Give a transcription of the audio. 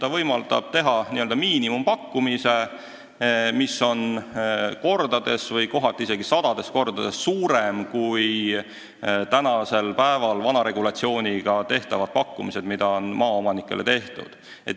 On võimalik teha n-ö miinimumpakkumine, mis on kohati isegi sadades kordades suurem kui praegu vana regulatsiooni kohaselt tehtav pakkumine.